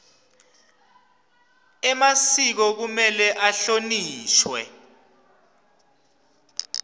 emasiko kumele ahlonishwe